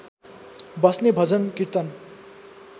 बस्ने भजन र्कीतन